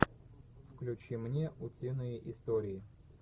включи мне утиные истории